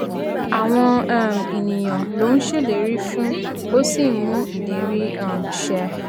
àwọn um ènìyàn ló ń ṣèlérí fún ó sì ń mú ìlérí um ṣẹ